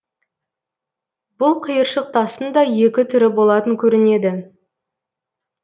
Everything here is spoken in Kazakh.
бұл қиыршық тастың да екі түрі болатын көрінеді